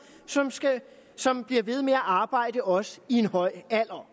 som bliver ved med at arbejde også i en høj alder